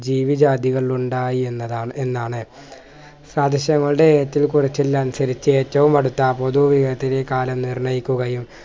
ജിവി ജാതികൾ ഉണ്ടായി എന്നതാണ് എന്നാണ് സാദൃശ്യങ്ങളുടെ ഏറ്റൽ കുറിച്ചലിനനുസരിച്ച് ഏറ്റവും അടുത്ത പൊതു കാലം നിർണ്ണയിക്കുകയും